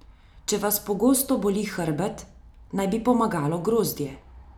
Če vas pogosto boli hrbet, naj bi pomagalo grozdje.